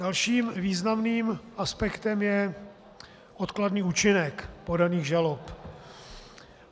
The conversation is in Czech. Dalším významným aspektem je odkladný účinek podaných žalob.